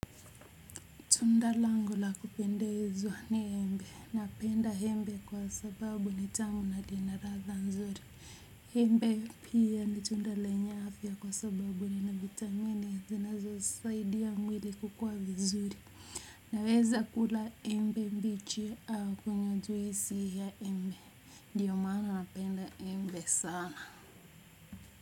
Tunda langu la kupendezwa ni embe, napenda embe kwa sababu ni tamu na lina radha nzuri. Embe pia ni tunda lenye afia kwa sababu ina vitamini, zinazo saidia mwili kukua vizuri. Naweza kula embe mbichi au kunywa juisi ya embe ndio maana napenda embe sana.